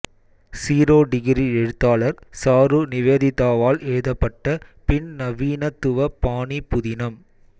zero degree எழுத்தாளர் சாரு நிவேதிதாவால் எழுதப்பட்ட பின்நவீனத்துவ பாணி புதினம்